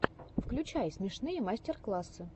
включай смешные мастер классы